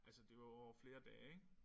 Altså det var jo over flere dage ik